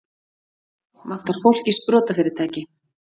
Vantar fólk í sprotafyrirtæki